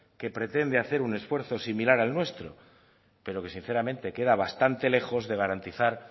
que pretende hacer un esfuerzo similar al nuestro pero que sinceramente queda bastante lejos de garantizar